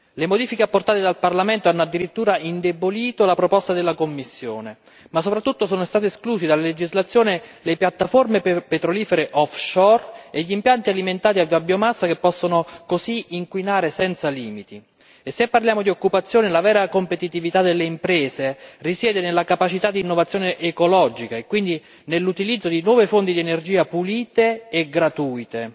Le modifiche apportate dal Parlamento hanno addirittura indebolito la proposta della Commissione, ma soprattutto sono state escluse dalla legislazione le piattaforme petrolifere offshore e gli impianti alimentati da biomassa che possono così inquinare senza limiti e se parliamo di occupazione la vera competitività delle imprese risiede nella capacità di innovazione ecologica e quindi nell'utilizzo di nuove fonti di energia pulite e gratuite,